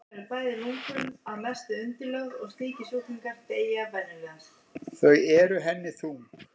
Þau eru henni þung.